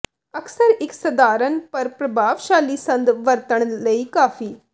ਅਕਸਰ ਇੱਕ ਸਧਾਰਨ ਪਰ ਪ੍ਰਭਾਵਸ਼ਾਲੀ ਸੰਦ ਵਰਤਣ ਲਈ ਕਾਫ਼ੀ